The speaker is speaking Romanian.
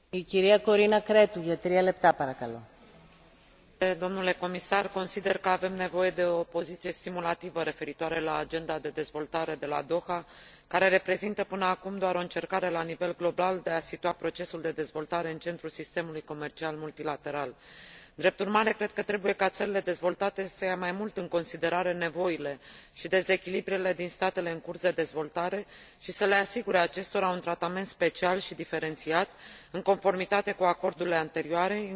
Consider că avem nevoie de o poziție stimulativă referitoare la Agenda de Dezvoltare de la Doha, care reprezintă până acum doar o încercare la nivel global de a situa procesul de dezvoltare în centrul sistemului comercial multilateral. Drept urmare, cred că trebuie ca țările dezvoltate să ia mai mult în considerare nevoile și dezechilibrele din statele în curs de dezvoltare și să le asigure acestora un tratament special și diferențiat, în conformitate cu acordurile anterioare, inclusiv o derogare privind serviciile și un mecanism diferit de monitorizare.